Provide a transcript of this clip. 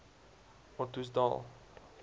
ottosdal